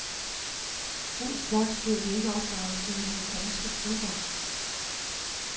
Den slags blev de ikke opdraget til i de danske klubber.